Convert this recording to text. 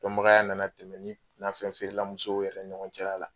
Dɔnbagaya nana tɛmɛ ni nafɛn feerela musow yɛrɛ ni ɲɔgɔncɛla la.